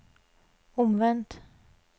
omvendt